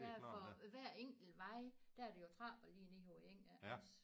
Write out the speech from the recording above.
Der er for hver enkelt vej der er der jo trapper lige ned på eng her også